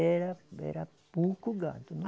Era era pouco gado.